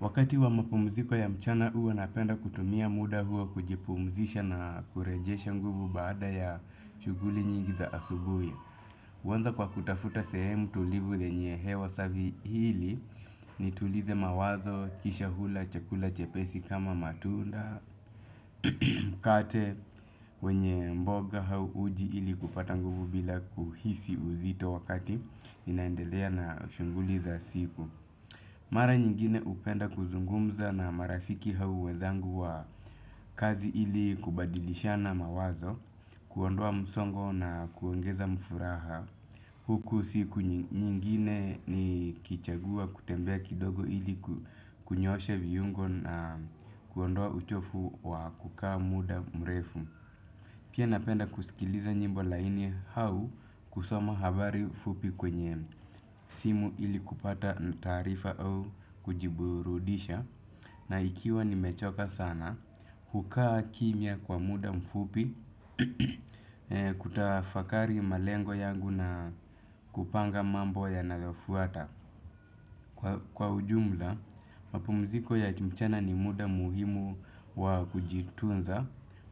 Wakati wa mapumziko ya mchana huwa napenda kutumia muda huo kujipumzisha na kurejesha nguvu baada ya shughuli nyingi za asubuhi huanza kwa kutafuta sehemu tulivu yenye hewa safi ili nitulize mawazo kisha kula chakula chepesi kama matunda. Kate wenye mboga au uji ili kupata nguvu bila kuhisi uzito wakati inaendelea na shaghuli za siku. Mara nyingine hupenda kuzungumza na marafiki hao wenzangu wa kazi ili kubadilishana mawazo, kuondoa msongo na kuongeza mfuraha. Huku siku nyingine ni kuchagua kutembea kidogo ili kunyoshe viungo na kuondoa uchafu wa kukaa muda mrefu. Pia napenda kusikiliza nyimbo laini au kusoma habari mfupi kwenye simu ili kupata taarifa au kujiburudisha. Na ikiwa nimechoka sana, hukaa kimya kwa muda mfupi kutafakari malengo yangu na kupanga mambo yanavyofuata. Kwa ujumla, mapumziko ya mchana ni muda muhimu wa kujitunza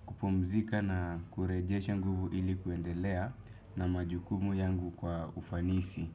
kupumzika na kurejesha nguvu ili kuendelea na majukumu yangu kwa ufanisi.